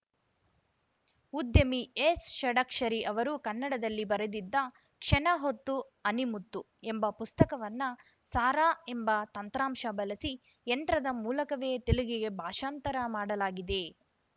ಉದ್ಯಮಿ ಎಸ್‌ ಷಡಕ್ಷರಿ ಅವರು ಕನ್ನಡದಲ್ಲಿ ಬರೆದಿದ್ದ ಕ್ಷಣ ಹೊತ್ತು ಅಣಿ ಮುತ್ತು ಎಂಬ ಪುಸ್ತಕವನ್ನ ಸಾರಾ ಎಂಬ ತಂತ್ರಾಶ ಬಳಸಿ ಯಂತ್ರದ ಮೂಲಕವೇ ತೆಲುಗಿಗೆ ಭಾಷಾಂತರ ಮಾಡಲಾಗಿದೆ